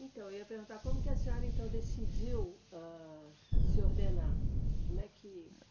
Então, eu ia perguntar, como que a senhora, então, decidiu, âh, se ordenar? Como é que